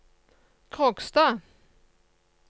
Kråkstad